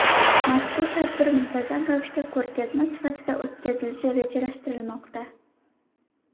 Mazkur tadbir muntazam ravishda ko‘rgazma sifatida o‘tkazilishi rejalashtirilmoqda.